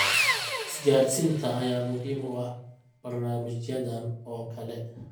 Isgaadhsiinta ayaa muhiim u ah barnaamijyadan oo kale.